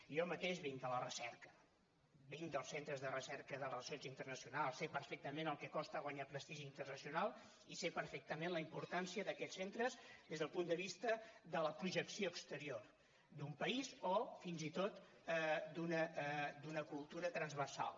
jo mateix vinc de la recerca vinc dels centres de recerca de relacions internacionals sé perfectament el que costa guanyar prestigi internacional i sé perfectament la importància d’aquests centres des del punt de vista de la projecció exterior d’un país o fins i tot d’una cultura transversal